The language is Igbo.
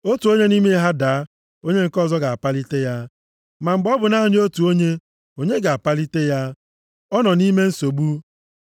Otu onye nʼime ha daa, onye nke ọzọ ga-apalite ya. Ma mgbe ọ bụ naanị otu onye, onye ga-apalite ya? Ọ nọ nʼime nsogbu.